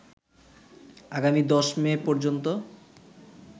আগামী ১০ মে পর্যন্ত